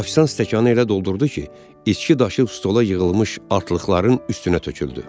Ofisiant stəkanı elə doldurdu ki, içki daşıb stola yığılmış artılıqların üstünə töküldü.